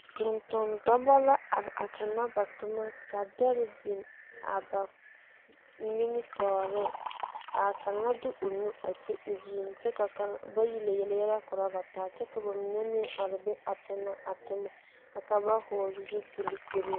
Tontondɔba la are a tona ba toma ka dɛre biŋ a ba sen nimitɔɔre ka kaŋa de o nu a ti o zuŋ kyɛ ka kaŋ bayi lɛ yele yɛlɛ korɔ ba taa kyɛ ka noba mine meŋ are be a tona a toma ka ba hɔgle zupiligirin.